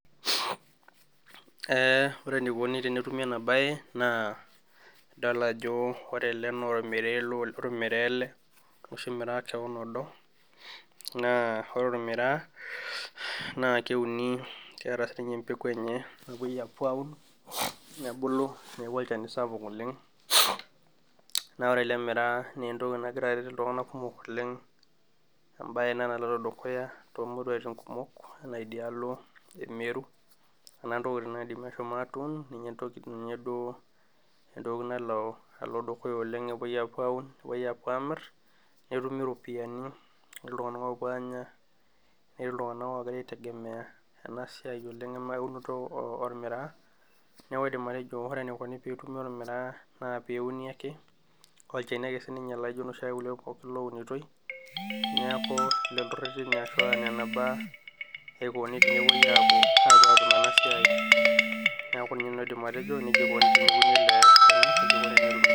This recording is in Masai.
ore enikoni tenetumi ena baye idol ajo ore ele naa olmiraa ele oshuma olmiraa kewon odo, naa ore olmiraa keuni keeta sii ninye embeku enye, apuo aun nebulu neeku olchani sapuk oleng, naa ore ele miraa kegira aret iltunganak kumok oleng enaa idialo emeru , ninye emir iltunganak pee epuo anya , ketii iltunganak ogira aitegemeya enasiai oleng' ena unoto olmiraa, naa olchani ake sinche laijio iloshi ake loo unitoi.